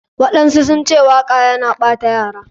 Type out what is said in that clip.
Waɗansu sunce waka yana ɓata yara.